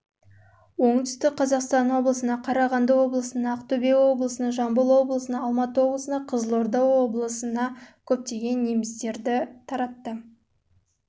облысына оңтүстік қазақстан облысына қарағанды облысына ақтөбе облысына жамбыл облысына алматы облысына қызылорда облысына ал